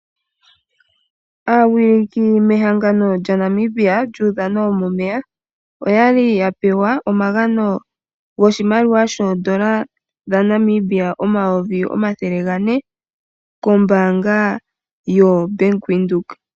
Aawiliki mehangano lyaNamibia lyUudhano wo mOmeya oya li ya pewa omagano goshimaliwa shoodola dhaNamibia omayovi omathele gane kombaanga yoBank Windhoek.